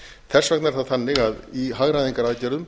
þess vegna er það þannig að í hagræðingaraðgerðum